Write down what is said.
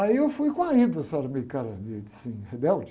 Aí eu fui com a, o cara meio de assim, rebelde.